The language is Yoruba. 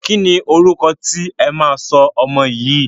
Kíni orúkọ tí ẹ máa sọ ọmọ yín?